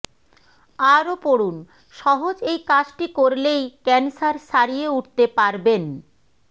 আরও পড়ুন সহজ এই কাজটি করলেই ক্যানসার সারিয়ে উঠতে পারবেন